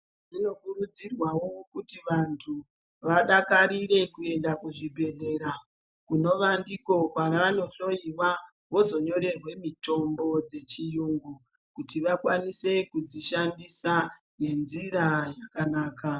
Zvino kurudzirwawo kuti vantu vadakarire kuenda ku zvibhedhlera kunova ndiko kwavano hloyiwa vozo nyorerwe mitombo dze chiyungu kuti vakwanise kudzi shandisa nge nzira yakanaka.